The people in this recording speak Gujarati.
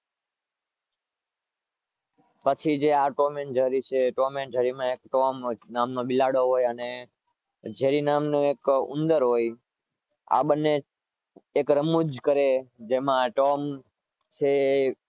પછી જે આ ટોમ એન્ડ જૈરી છે ટોમ એન્ડ જૈરી માં ટોમ નામનો બિલાડો હોય અને જેરી નામનું એક ઉંદર હોય આ બંને એક રમુજ કરે જેમાં ટોમ છે